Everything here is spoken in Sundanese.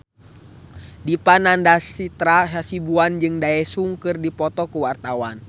Dipa Nandastyra Hasibuan jeung Daesung keur dipoto ku wartawan